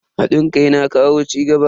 Hadin kai na kawo cigaba.